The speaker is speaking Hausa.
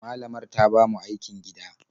Malamar ta ba mu aikin gida.